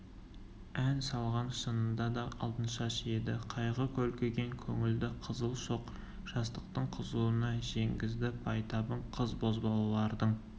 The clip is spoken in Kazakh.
ән салған шынында да алтыншаш еді қайғы көлкіген көңілді қызыл шоқ жастықтың қызуына жеңгізді байтабын қыз-бозбалалардың